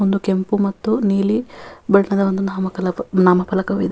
ಒಂದು ಕೆಂಪು ಮತ್ತು ನೀಲಿ ಬಣ್ಣದ ನಾಮಫಲಕವಿದೆ.